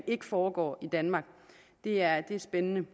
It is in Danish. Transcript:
ikke foregår i danmark det er spændende